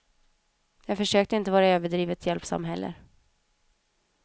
Jag försökte inte vara överdrivet hjälpsam heller.